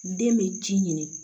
Den bɛ ci ɲini